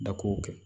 Da kow kɛ